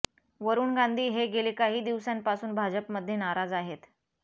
वरुण गांधी हे गेली काही दिवसांपासून भाजपमध्ये नाराज आहेत